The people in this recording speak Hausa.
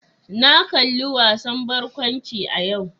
Na kalli wasan barkwanci a yau.